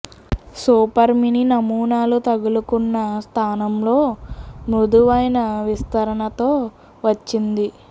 super mini నమూనాలు తగులుకున్న స్థానంలో మృదువైన విస్తరణతో వచ్చింది